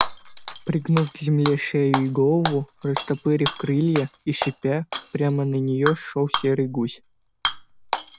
пригнув к земле шею и голову растопырив крылья и шипя прямо на неё шёл серый гусь